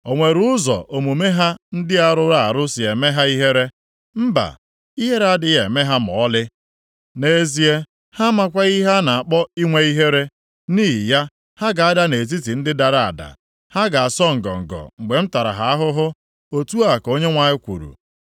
O nwere ụzọ omume ha ndị a rụrụ arụ si eme ha ihere? Mba! Ihere adịghị eme ha ma ọlị. Nʼezie, ha amakwaghị ihe a na-akpọ inwe ihere! Nʼihi ya, ha ga-ada nʼetiti ndị dara ada. Ha ga-asọ ngọngọ mgbe m tara ha ahụhụ.” Otu a ka Onyenwe anyị kwuru.